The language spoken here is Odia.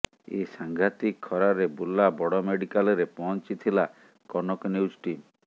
ଏ ସାଂଘାତିକ୍ ଖରାରେ ବୁର୍ଲା ବଡ ମେଡିକାଲ୍ରେ ପହଂଚିଥିଲା କନକ ନ୍ୟୁଜ୍ ଟିମ୍